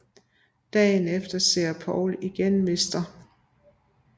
Dagen efter ser Paul igen Mr